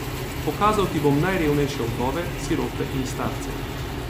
Pokazal ti bom najrevnejše vdove, sirote in starce.